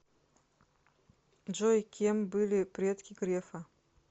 джой кем были предки грефа